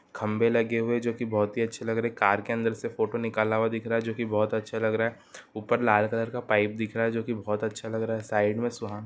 खम्भे लगे हुए हैं जो की बहोत ही अच्छे लग रहै हैं। कार के अंदर से फोटो निकाला हूआ दिख रहा है जो की बहोत अच्छा लग रहा है ऊपर लाल कलर का पाइप दिख रहा है जो की बहोत ही अच्छ लग रहा है साइड में सुहान--